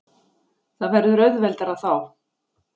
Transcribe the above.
Það verður auðveldara þá.